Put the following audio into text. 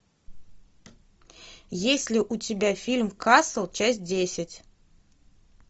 есть ли у тебя фильм касл часть десять